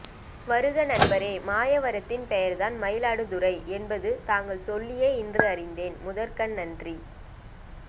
வருக நண்பரே மாயவரத்தின் பெயர்தான் மயிலாடுதுறை என்பது தாங்கள் சொல்லியே இன்று அறிந்தேன் முதற்க்கண் நன்றி